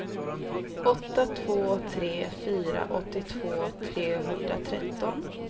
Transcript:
åtta två tre fyra åttiotvå trehundratretton